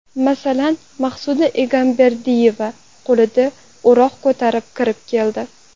Masalan, Maqsuda Egamberdiyeva qo‘lida o‘roq ko‘tarib kirib keldi.